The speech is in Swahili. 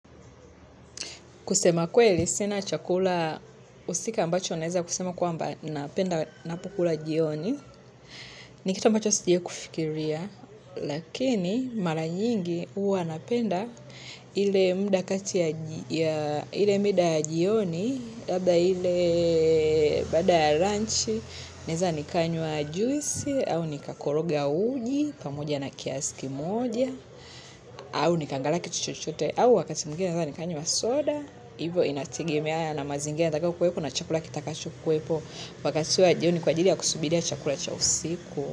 Kusema kweli, sina chakula usika ambacho naeza kusema kwamba ninapenda ninapokula jioni. Ni kitu ambacho sijawahi kufikiria, lakini mara nyingi huwa napenda ile muda kati ya jioni, labda ile baada ya lanchi, naweza nikanywa juisi, au nikakoroga uji, pamoja na kiazi moja, au nikaangalia kitu chochote au wakati mwingine naweza nikanywa soda, hivyo inategemeana na mazingira nitakayokuwepo na chakula kitakacho kuwepo wakati wa jioni kwa ajili ya kusubiria chakula cha usiku.